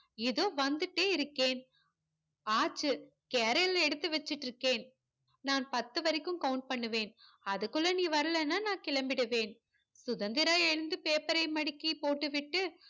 இதோ வந்துட்டே இருக்கேன் ஆச்சு carrier ல எடுத்து வச்சுட்டு இருக்கேன் நான் பத்து வரைக்கும் count பண்ணுவேன் அதுக்குள்ளே நீ வரலைன நா கிளம்பிடுவேன் சுதந்திரா எழுந்து paper யை மடக்கி போட்டுவிட்டு